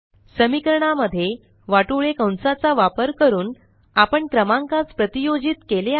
समीकरणा मध्ये वाटोळे कंसाचा वापर करून आपण क्रमांकास प्रतीयोजित केले आहे